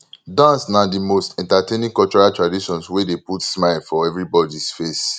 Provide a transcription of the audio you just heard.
dance na di most entertaining cultural traditions wey dey put smile for everybodys face